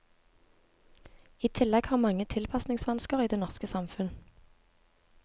I tillegg har mange tilpasningsvansker i det norske samfunn.